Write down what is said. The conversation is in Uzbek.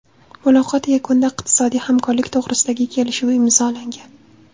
Muloqot yakunida iqtisodiy hamkorlik to‘g‘risidagi kelishuv imzolangan.